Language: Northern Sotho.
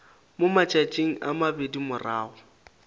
mo matšatšing a mabedi morago